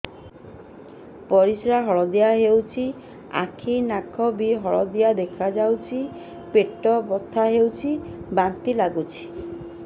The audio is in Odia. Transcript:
ପରିସ୍ରା ହଳଦିଆ ହେଉଛି ଆଖି ନଖ ବି ହଳଦିଆ ଦେଖାଯାଉଛି ପେଟ ବଥା ହେଉଛି ବାନ୍ତି ବାନ୍ତି ଲାଗୁଛି